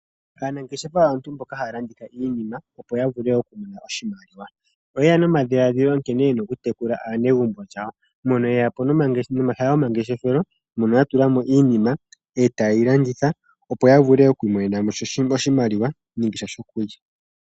Aanangeshefa aantu mboka haya landitha iinima opo yavule okumona oshimaliwa. Oyeya nomadhiladhilo nkene yena okutekula aanegumbo lyawo moka yeya po nomahala gomangeshefelo moka ya tula mo iinima eta yeyi landitha opo yavule oku imonena mo iimaliwa nenge sha shokulya.